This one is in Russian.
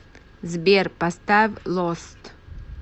сбер поставь лост